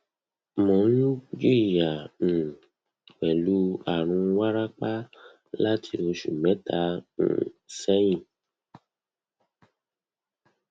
mo n jiya um pẹlu arun warapa lati oṣu mẹta um sẹhin